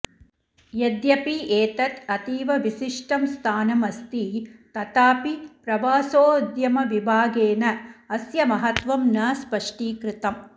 यद्यपि एतत् अतीव विशिष्ठं स्थानमस्ति तथापि प्रवासोद्यमविभागेन अस्य महत्वं न स्पष्टीकृतम्